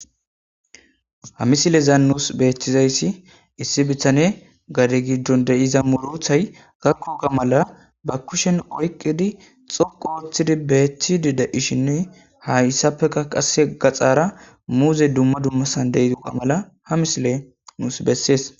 ha misilezan nuus beethtizayssi issi bitane gade giddon deyiza murothay gakkoga mala ba kushen oyqidi xoqo othidi beeththidi da ishinne ha issappeka qasse gaxaara muuze dumma dummasan deydua mala ha misile nuus bessees